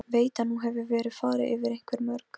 Allt sem þú hefur lært á fimm árum.